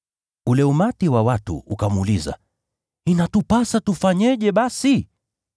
Ule umati wa watu ukamuuliza, “Inatupasa tufanyeje basi?”